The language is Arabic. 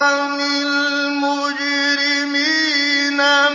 عَنِ الْمُجْرِمِينَ